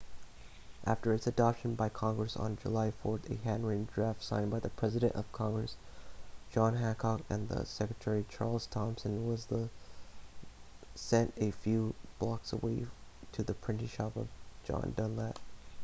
after its adoption by congress on july 4 a handwritten draft signed by the president of congress john hancock and the secretary charles thomson was then sent a few blocks away to the printing shop of john dunlap